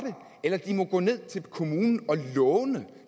det eller de må gå ned til kommunen og låne